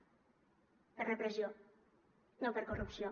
per repressió no per corrupció